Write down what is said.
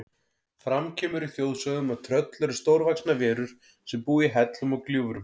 Fram kemur í þjóðsögum að tröll eru stórvaxnar verur sem búa í hellum og gljúfrum.